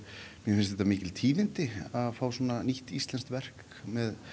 mér finnst þetta mikil tíðindi að fá svona nýtt íslensk verk með